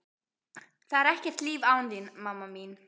Það er ekkert líf án þín, mamma mín.